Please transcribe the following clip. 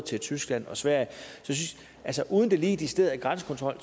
tyskland og sverige altså uden at det lige er decideret grænsekontrol